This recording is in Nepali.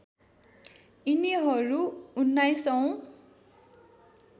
यिनीहरू १९ औँ